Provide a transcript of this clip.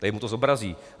Tady mu to zobrazí.